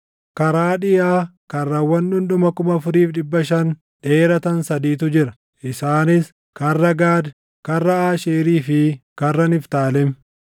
Karaa dhiʼaa karrawwan dhundhuma 4,500 dheeratan sadiitu jira; isaanis karra Gaad, karra Aasheerii fi karra Niftaalem.